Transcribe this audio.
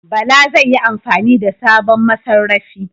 Bala zai yi amfani da sabon masarrafi.